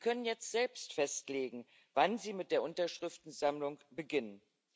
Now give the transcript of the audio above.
Sie können jetzt selbst festlegen, wann sie mit der Unterschriftensammlung beginnen.